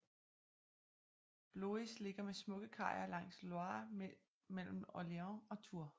Blois ligger med smukke kajer langs Loire midt mellem Orléans og Tours